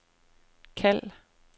kald